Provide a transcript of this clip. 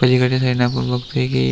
पलिकडच्या साईडन आपण बगतोय की --